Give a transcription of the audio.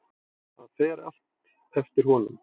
Það fer allt eftir honum.